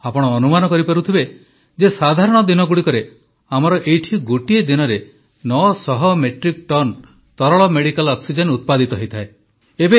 ଆପଣ ଅନୁମାନ କରିପାରୁଥିବେ ଯେ ସାଧାରଣ ଦିନଗୁଡ଼ିକରେ ଆମର ଏଇଠି ଗୋଟିଏ ଦିନରେ 900 ମେଟ୍ରିକ୍ ଟନ ତରଳ ମେଡ଼ିକାଲ ଅକ୍ସିଜେନ୍ ଉତ୍ପାଦିତ ହୋଇଥାଏ